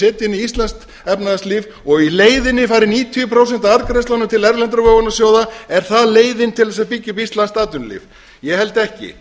setja inn í íslenskt efnahagslíf og í leiðinni fari níutíu prósent af arðgreiðslunum til erlendra vogunarsjóða er það leiðin til að byggja upp íslenskt atvinnulíf ég held ekki